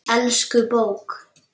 Elsku bók!